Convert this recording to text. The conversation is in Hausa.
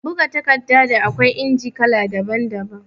Buga littafi, da akwai inji kala daban-daban